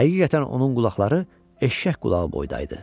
Həqiqətən onun qulaqları eşşək qulağı boyda idi.